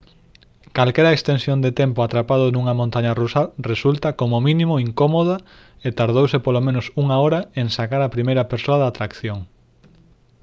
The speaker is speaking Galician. calquera extensión de tempo atrapado nunha montaña rusa resulta como mínimo incómoda e tardouse polo menos unha hora en sacar á primeira persoa da atracción»